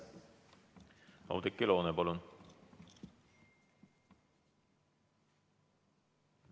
Oudekki Loone, palun!